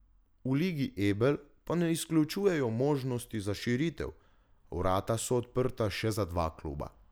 V ligi Ebel pa ne izključujejo možnosti za širitev, vrata so odprta še za dva kluba.